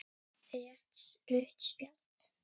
Rétt rautt spjald?